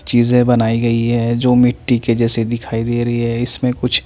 चीजें बनाई गई है जो मिट्टी के जैसे दिखाई दे रही है इसमें कुछ--